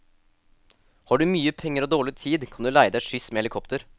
Har du mye penger og dårlig tid kan du leie deg skyss med helikopter.